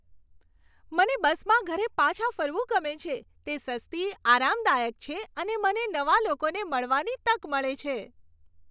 મને બસમાં ઘરે પાછા ફરવું ગમે છે. તે સસ્તી, આરામદાયક છે અને મને નવા લોકોને મળવાની તક મળે છે.